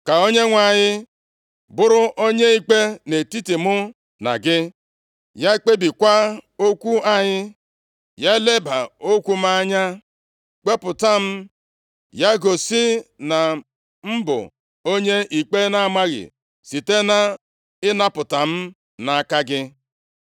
Ka Onyenwe anyị bụrụ onye ikpe nʼetiti mụ na gị, ya kpebiekwa okwu anyị. Ya leba okwu m anya kpepụta m, ya gosi na m bụ onye ikpe na-amaghị site nʼịnapụta m nʼaka gị.”